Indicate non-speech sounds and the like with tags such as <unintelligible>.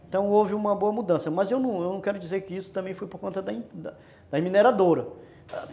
Então houve uma boa mudança, mas eu não quero dizer que isso também foi por conta da da <unintelligible> mineradora.